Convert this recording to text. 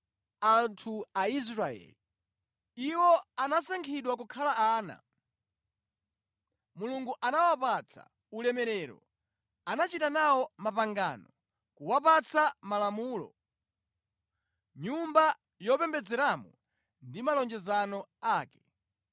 anthu Aisraeli. Iwo anasankhidwa kukhala ana. Mulungu anawapatsa ulemerero, anachita nawo mapangano, kuwapatsa Malamulo, Nyumba yopembedzeramo ndi malonjezano ake.